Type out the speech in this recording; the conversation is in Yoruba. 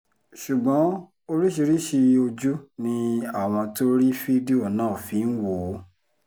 ṣùgbọ́n oríṣiríṣiì ojú ni àwọn tó rí fídíò náà fi ń wò ó